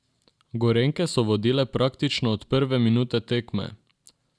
Gorenjke so vodile praktično od prve minute tekme.